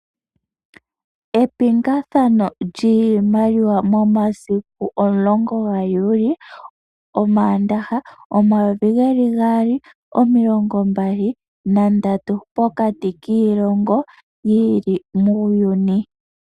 Epingakano lyiimaliwa lyomaandaha omasiku omulongo gaJuli 2023 pokati kiilongo yi ili muuyuni.